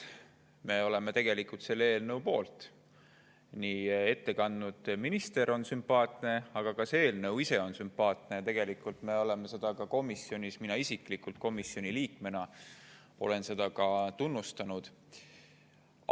Me oleme tegelikult selle eelnõu poolt, ette kandnud minister on sümpaatne, ka see eelnõu ise on sümpaatne, ja me oleme seda komisjonis, ka mina isiklikult komisjoni liikmena olen seda tunnustanud.